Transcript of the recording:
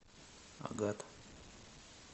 агат